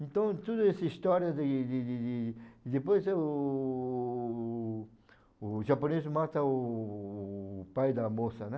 Então, toda essa história de de de de... E depois, eh, o... o japonês mata o... pai da moça, né?